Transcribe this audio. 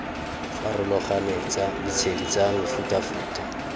farologaneng tsa ditshedi tsa mefutafuta